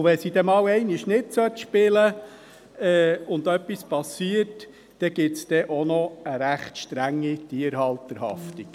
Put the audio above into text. Wenn sie dann einmal nicht spielen sollte und etwas geschieht, dann gibt es auch noch eine recht strenge Tierhalterhaftung.